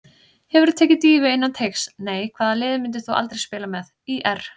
Hefurðu tekið dýfu innan teigs: Nei Hvaða liði myndir þú aldrei spila með: ÍR